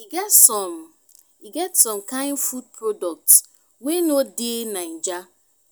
e get some e get some kain food products wey no dey naija